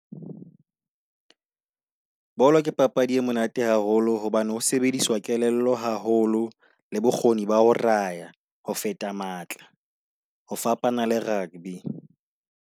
Bolo ke papadi e monate haholo hobane ho sebedisa kelello haholo, le bokgoni ba ho raya ho feta matla. Ho fapana le rugby.